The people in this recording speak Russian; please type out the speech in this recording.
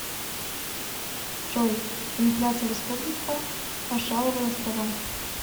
джой инфляция в республика маршалловы острова